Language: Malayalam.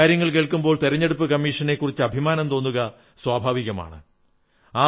ഈ കാര്യങ്ങൾ കേൾക്കുമ്പോൾ തിരഞ്ഞെടുപ്പു കമ്മീഷനെക്കുറിച്ച് അഭിമാനം തോന്നുക സ്വാഭാവികമാണ്